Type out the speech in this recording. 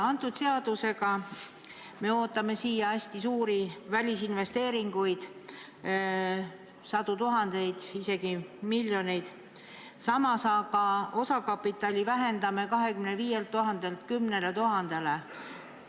Selle seadusega me ootame siia hästi suuri välisinvesteeringuid, sadu tuhandeid, isegi miljoneid, samas osakapitali vähendame 25 000 eurolt 10 000 eurole.